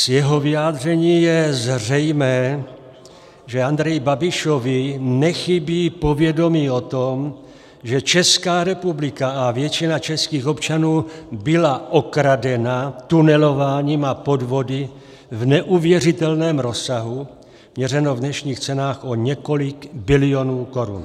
Z jeho vyjádření je zřejmé, že Andreji Babišovi nechybí povědomí o tom, že Česká republika a většina českých občanů byla okradena tunelováním a podvody v neuvěřitelném rozsahu, měřeno v dnešních cenách o několik bilionů korun.